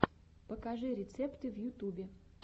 покажи рецепты в ютубе